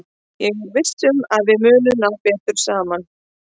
Ég er viss um að við munum ná betur saman.